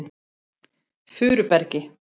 Furubergi